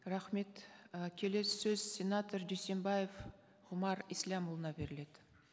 рахмет і келесі сөз сенатор дүйсенбаев ғұмар ислямұлына беріледі